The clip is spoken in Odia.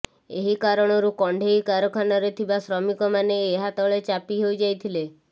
ଏହି କାରଣରୁ କଣ୍ଢେଇ କାରଖାନାରେ ଥିବା ଶ୍ରମିକମାନେ ଏହା ତଳେ ଚାପି ହୋଇଯାଇଥିଲେ